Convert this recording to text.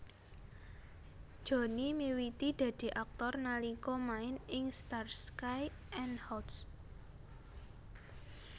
Johnny miwiti dadi aktor nalika main ing Starsky and Hutch